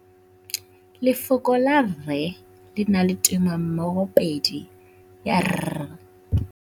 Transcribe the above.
Lefoko la rre, le na le tumammogôpedi ya, r.